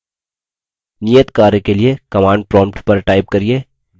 नियत कार्य के लिए command prompt पर type करिये